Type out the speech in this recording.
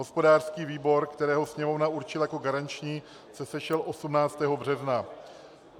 Hospodářský výbor, který Sněmovna určila jako garanční, se sešel 18. března.